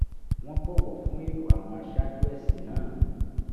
wọ́n bọ̀wọ̀ fún èrò àwọn aṣáájú ẹ̀sìn náà